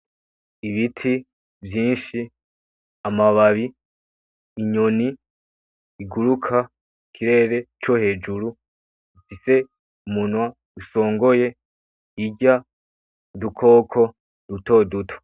Ibiti , vyinshi , amababi , inyoni , iguruka , mu kirere co hejuru ifise umunwa usongoye irya udukoko duto duto.